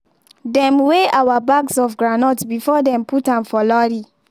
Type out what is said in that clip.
dem weigh our bags of groundnut before dem put am for lorry.